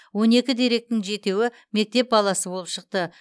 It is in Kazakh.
он екі деректің жетеуі мектеп баласы болып шықты